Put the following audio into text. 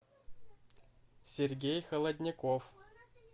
сергей холодняков